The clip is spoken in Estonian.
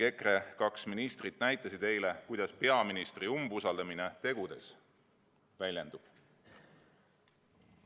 EKRE kaks ministrit näitasid eile, kuidas peaministri umbusaldamine tegudes väljendub.